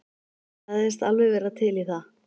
Sagðist alveg vera til í það.